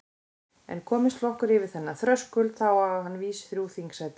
En komist flokkur yfir þennan þröskuld þá á hann vís þrjú þingsæti.